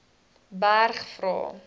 berg vra